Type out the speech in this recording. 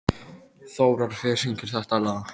Þórar, hver syngur þetta lag?